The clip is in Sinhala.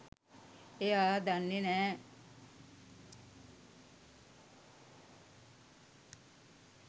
එයා දන්නේ නෑ